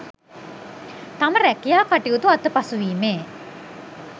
තම රැකියා කටයුතු අතපසුවීමේ